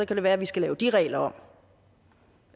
kan det være at vi skal lave de regler om